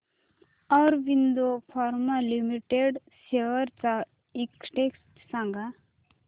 Aurobindo pharma limited shares चा index सांगा